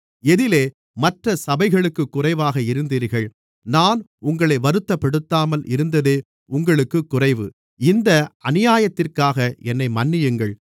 எதிலே மற்றச் சபைகளுக்குக் குறைவாக இருந்தீர்கள் நான் உங்களை வருத்தப்படுத்தாமல் இருந்ததே உங்களுக்குக் குறைவு இந்த அநியாயத்திற்காக என்னை மன்னியுங்கள்